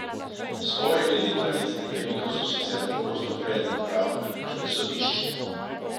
Spori glede pravic najemnikov so sicer pogosto predmet pravd na nemških sodiščih.